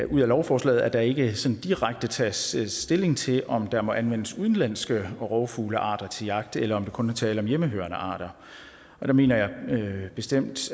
ud af lovforslaget at der ikke sådan direkte tages stilling til om der må anvendes udenlandske rovfuglearter til jagt eller om der kun er tale om hjemmehørende arter der mener jeg bestemt